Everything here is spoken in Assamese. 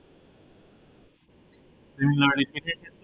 তিনিটো repeated দিছো